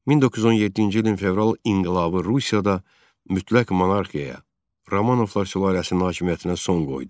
1917-ci ilin fevral inqilabı Rusiyada mütləq monarxiya, Romanovlar sülaləsinin hakimiyyətinə son qoydu.